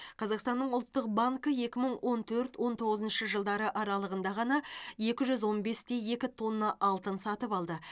қазақстанның ұлттық банкі екі мың он төрт он тоғызыншы жылдары аралығында ғана екі жүз он бес те екі тонна алтын сатып алды